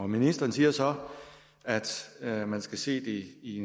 ministeren siger så at man skal se det i